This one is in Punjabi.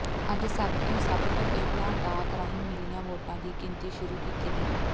ਅੱਜ ਸਭ ਤੋਂ ਸਭ ਤੋਂ ਪਹਿਲਾਂ ਡਾਕ ਰਾਹੀਂ ਮਿਲੀਆਂ ਵੋਟਾਂ ਦੀ ਗਿਣਤੀ ਸ਼ੁਰੂ ਕੀਤੀ ਗਈ